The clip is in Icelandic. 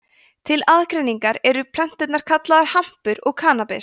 til aðgreiningar eru plönturnar kallaðar hampur og kannabis